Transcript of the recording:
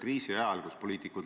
Nii et ma seda mõtet toetan.